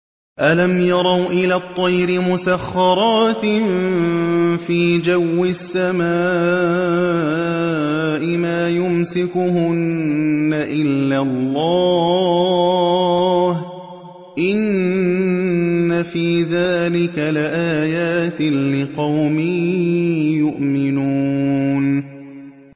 أَلَمْ يَرَوْا إِلَى الطَّيْرِ مُسَخَّرَاتٍ فِي جَوِّ السَّمَاءِ مَا يُمْسِكُهُنَّ إِلَّا اللَّهُ ۗ إِنَّ فِي ذَٰلِكَ لَآيَاتٍ لِّقَوْمٍ يُؤْمِنُونَ